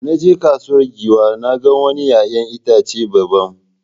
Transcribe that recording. Da na je kasuwar Giwa sai na ga wani ’ya’yan itace daban.